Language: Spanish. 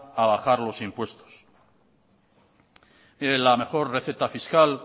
a bajar los impuestos mire la mejor receta fiscal